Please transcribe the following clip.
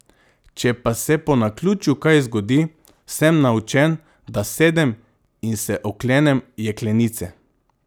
Če pa se po naključju kaj zgodi, sem naučen, da sedem in se oklenem jeklenice.